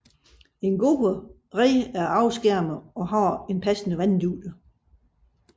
En god red er afskærmet og har en passende vanddybde